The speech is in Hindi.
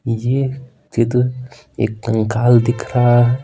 ये चित्र एक कंकाल दिख रहा है।